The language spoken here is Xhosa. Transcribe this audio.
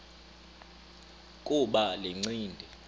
kuba le ncindi